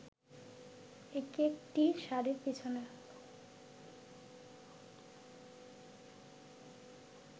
একেকটি শাড়ির পেছনে